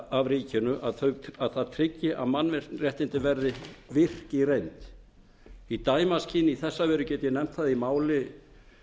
af ríkinu að það tryggi að mannréttindi verði virk í reynd í dæmaskyni má nefna að í máli